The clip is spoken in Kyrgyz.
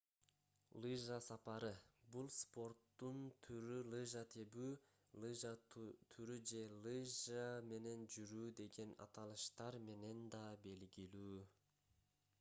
лыжа сапары бул спорттун түрү лыжа тебүү лыжа туру же лыжа менен жүрүү деген аталыштар менен да белгилүү